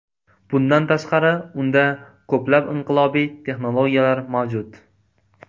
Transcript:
Bundan tashqari, unda ko‘plab inqilobiy texnologiyalar mavjud.